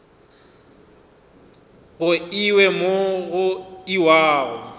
go iwe mo go iwago